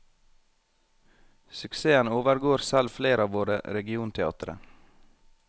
Suksessen overgår selv flere av våre regionteatre.